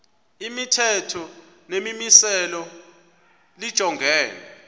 imithetho nemimiselo lijongene